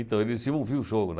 Então, eles iam ouvir o jogo, né.